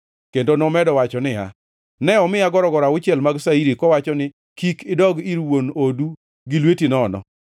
kendo nomedo wacho niya, “Ne omiya gorogoro auchiel mag shairi kowacho ni, ‘Kik idog ir wuon odu gi lweti nono!’ ”